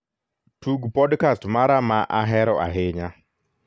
tug podkast mara ma ahero ahinya